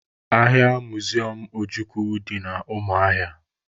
Agha miziọm Ojukwu dị na Umuahia